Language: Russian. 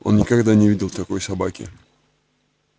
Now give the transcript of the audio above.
он никогда не видел такой собаки